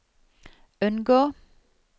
unngå